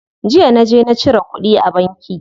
Jiya naje na cire kuɗi a banki.